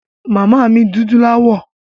Ìyá mi dúdú láwọ̀.